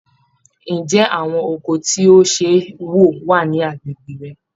Ǹjẹ́ àwọn ọkọ̀ tí ó ṣe é wọ̀ wà ní agbègbè rẹ?